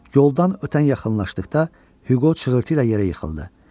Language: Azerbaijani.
Yoldan ötən yaxınlaşdıqda Hüqo çığırtıyla yerə yıxıldı.